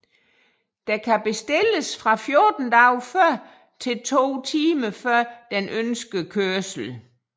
Der kan bestilles fra 14 dage før til to timer før den ønskede kørsel